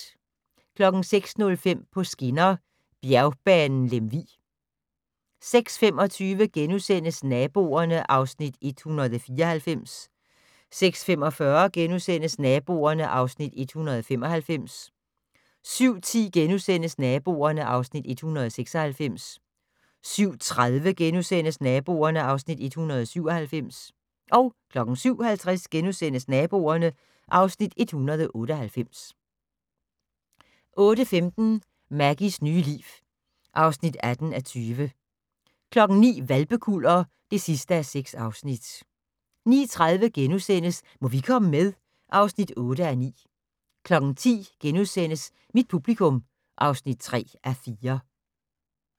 06:05: På skinner: Bjergbanen Lemvig 06:25: Naboerne (Afs. 194)* 06:45: Naboerne (Afs. 195)* 07:10: Naboerne (Afs. 196)* 07:30: Naboerne (Afs. 197)* 07:50: Naboerne (Afs. 198)* 08:15: Maggies nye liv (18:20) 09:00: Hvalpekuller (6:6) 09:30: Må vi komme med? (8:9)* 10:00: Mit publikum (3:4)*